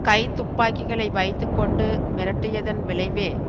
கைத்துப்பாக்கிகளை வைத்து கொண்டு மிரட்டியதன் விளைவே